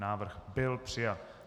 Návrh byl přijat.